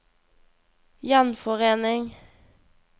gjenforening